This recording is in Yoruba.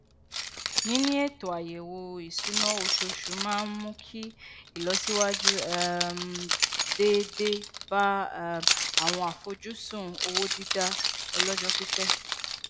níní ètò ayẹwo ìṣúná oṣooṣù maá n mú kí ìlọsíwájú um déédéé bá um àwọn àfojúsùn owó dida ọlọjọ pípẹ